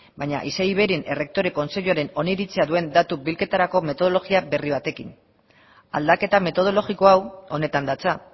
baina isei iveiren errektore kontseiluaren oniritzia duen datu bilketarako metodologia berri batekin aldaketa metodologiko hau honetan datza